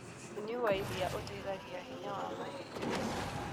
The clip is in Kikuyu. Ũnyũĩ wa ĩrĩa ũteĩthagĩa hinya wa mahĩndĩ